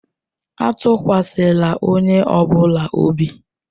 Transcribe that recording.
Atụkwasịla onye ọ bụla obi!